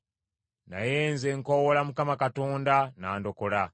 Naye nze nkoowoola Mukama Katonda, n’andokola.